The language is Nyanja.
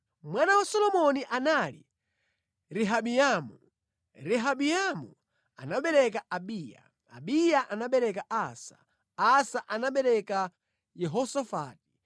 Mwana wa Solomoni anali Rehabiamu, Rehabiamu anabereka Abiya, Abiya anabereka Asa, Asa anabereka Yehosafati,